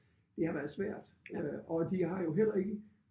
Det har været svært øh og de har jo heller ikke